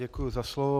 Děkuji za slovo.